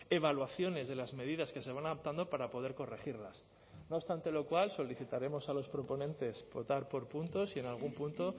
evaluaciones de las medidas que se van adoptando para poder corregirlas no obstante lo cual solicitaremos a los proponentes votar por puntos y en algún punto